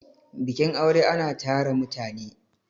bikin aure ana tara mutane